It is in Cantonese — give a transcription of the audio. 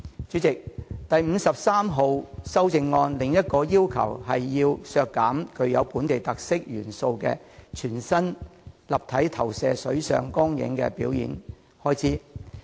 主席，這項修正案提出的另一項建議，是削減具本地特色元素的全新立體投射水上光影表演的全年預算開支。